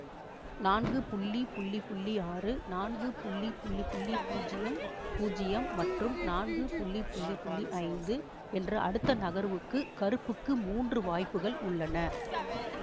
நான்கு ஆறு நான்கு பூஜ்யம் பூஜ்யம் மற்றும் நான்கு ஐந்து என்று அடுத்த நகர்வுக்கு கருப்புக்கு மூன்று வாய்ப்புகள் உள்ளன